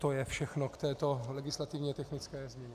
To je všechno k této legislativně technické změně.